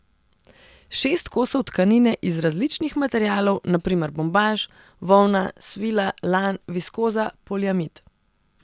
Šest kosov tkanine iz različnih materialov, na primer bombaž, volna, svila, lan, viskoza, poliamid.